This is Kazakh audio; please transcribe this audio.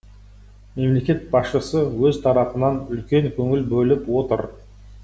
мемлекет басшысы өз тарапынан үлкен көңіл бөліп отыр